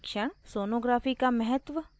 sonography का महत्व